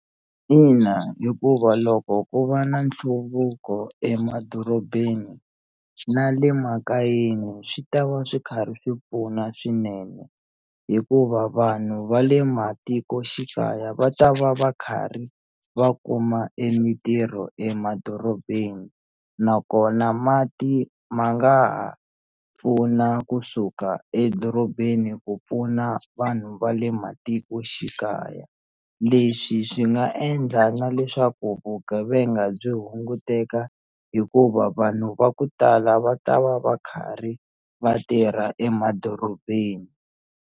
Ina hikuva loko ku va na nhluvuko emadorobeni na le makayeni swi ta va swi karhi swi pfuna swinene hikuva vanhu va le matikoxikaya va ta va va karhi va kuma e mitirho emadorobeni nakona mati ma nga ha pfuna kusuka edorobeni ku pfuna vanhu va le matikoxikaya leswi swi nga endla na leswaku vugevenga byi hunguteka hikuva vanhu va ku tala va ta va va karhi vatirha emadorobeni.